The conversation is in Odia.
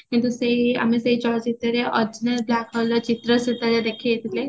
କିନ୍ତୁ ସେଇ ଆମେ ସେଇ ଚଳ ଚିତ୍ରରେ ଅଚିହ୍ନା black hallର ଚିତ୍ର ସେତେବେଳେ ଦେଖେଇଥିଲେ